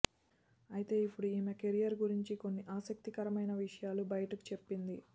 అయితే ఇప్పుడు ఈమె కెరీర్ గురించి కొన్ని ఆసక్తికరమైన విషయాలు బయటకు చెప్పింది